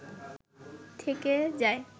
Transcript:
থেকে যায়